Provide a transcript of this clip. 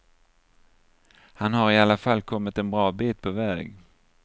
Han har i alla fall kommit en bra bit på väg.